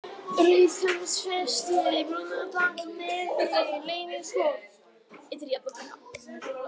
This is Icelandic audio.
Rauðhamarsfesti, Brunatagl, Neðri-Leynishóll, Ytri-Jafnabrekka